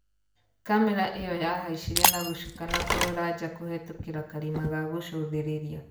Kamera iyo yahaicire na gũcuka na kũrora njaa kũhitũkira karima ga gũcũthĩrĩria.